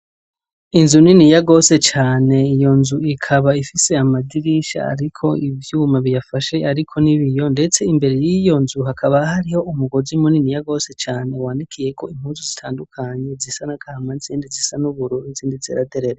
Inzu niniya gose cane, iyo nzu ikaba ifise amadirisha ariko ivyuma biyafashe ariko n'ibiyo ,ndetse imbere y'iyo nzu hakaba hariho umugozi muniniya gose cane wanikiyeko impuzu zitandukanye zisa n'agahama, izindi zisa n'ubururu, izindi zera derere.